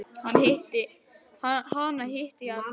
Hana hitti ég aldrei.